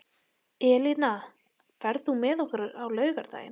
Elína, ferð þú með okkur á laugardaginn?